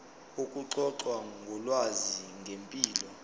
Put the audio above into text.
ukuxoxa ngolwazi ngempilo